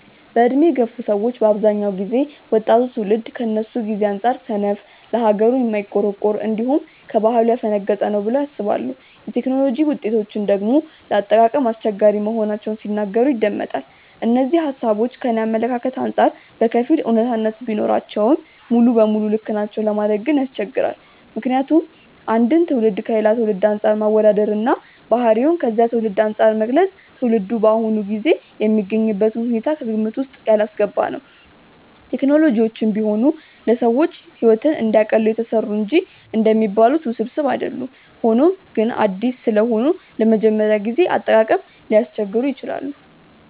በዕድሜ የገፉ ሰዎች በአብዛኛው ጊዜ ወጣቱ ትውልድ ከነሱ ጊዜ አንጻር ሰነፍ፣ ለሀገሩ የማይቆረቆር፣ እንዲሁም ከባህሉ ያፈነገጠ ነው ብለው ያስባሉ። የቴክኖሎጂ ውጤቶችን ደግሞ ለአጠቃቀም አስቸጋሪ መሆናቸውን ሲናገሩ ይደመጣል። እነዚህ ሃሳቦች ከኔ አመለካከት አንጻር በከፊል አውነታነት ቢኖራቸውም ሙሉ ለሙሉ ልክ ነው ለማለት ግን ያስቸግራል። ምክንያቱም አንድን ትውልድ ከሌላ ትውልድ አንፃር ማወዳደር እና ባህሪውን ከዚያ ትውልድ አንፃር መግለጽ ትውልዱ በአሁኑ ጊዜ የሚገኝበትን ሁኔታዎች ከግምት ውስጥ ያላስገባ ነው። ቴክኖሎጂዎችም ቢሆኑ ለሰዎች ሕይወትን እንዲያቀሉ የተሰሩ እንጂ እንደሚባሉት ውስብስብ አይደሉም። ሆኖም ግን አዲስ ስለሆኑ ለመጀመሪያ ጊዜ አጠቃቀም ሊያስቸግሩ ይችላሉ።